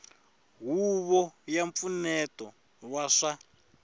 huvo ya mpfuneto wa swa